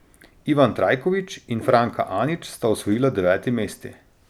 Ivan Trajković in Franka Anić sta osvojila deveti mesti.